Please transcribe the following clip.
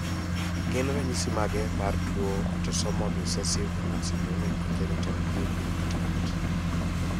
Gin ranyisi mage mar tuoAutosomal recessive nonsyndromic congenital nuclear cataract?